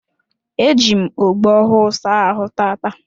Eji m ogbo ọhụụ saa ahụ taata